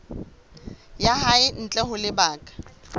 ya hae ntle ho lebaka